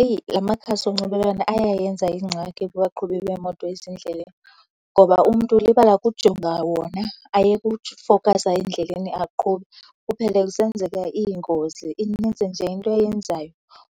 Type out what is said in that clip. Eyi, la makhasi onxibelelwano ayayenza ingxaki kubaqhubi beemoto ezindleleni ngoba umntu ulibala ukujonga wona, ayeke ufowukhasa endleleni aqhube, kuphele kusenzeka iingozi. Inintsi nje into eyenzayo.